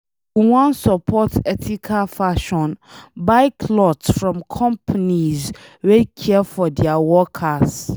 If you wan support ethical fashion, buy cloth from companies wey care for dia workers.